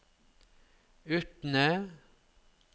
Utne